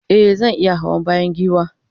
e zan iya Hawa bayan giwa